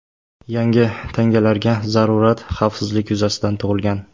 Yangi tangalarga zarurat xavfsizlik yuzasidan tug‘ilgan.